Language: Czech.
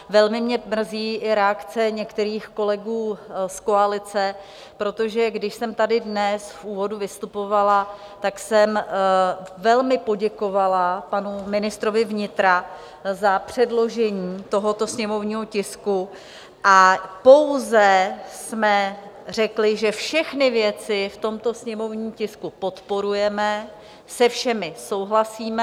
Velmi mě mrzí i reakce některých kolegů z koalice, protože když jsem tady dnes v úvodu vystupovala, tak jsem velmi poděkovala panu ministrovi vnitra za předložení tohoto sněmovního tisku a pouze jsme řekli, že všechny věci v tomto sněmovním tisku podporujeme, se všemi souhlasíme.